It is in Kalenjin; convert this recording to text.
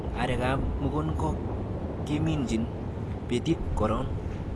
Arekab mukunkok keminjin betit koron